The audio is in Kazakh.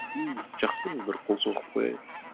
ну жақсы бір қол соғып қояйық